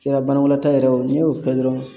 Kɛra banakɔnata yɛrɛ ye o n'i y'o kɛ dɔrɔn